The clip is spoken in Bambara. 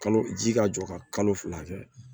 Kalo ji ka jɔ ka kalo fila kɛ